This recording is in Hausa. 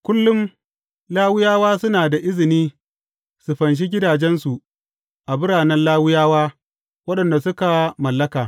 Kullum, Lawiyawa suna da izini su fanshi gidajensu a biranen Lawiyawa waɗanda suka mallaka.